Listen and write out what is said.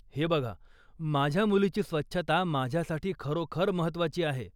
हे बघा, माझ्या मुलीची स्वच्छता माझ्यासाठी खरोखर महत्त्वाची आहे.